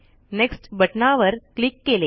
next बटनावर click केले